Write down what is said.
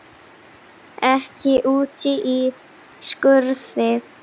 Ekki úti í skurði.